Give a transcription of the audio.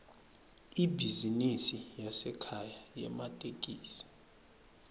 ibhizinisi yasekhaya yematekisi